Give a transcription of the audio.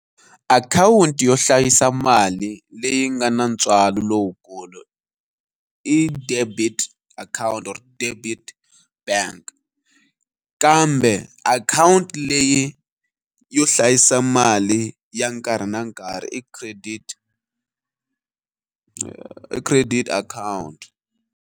Akhawunti yo hlayisa mali leyi nga na ntswalo lowukulu i debit akhawunti or debit bank. Kambe akhawunti leyi yo hlayisa mali ya nkarhi na nkarhi i credit i credit akhawunti.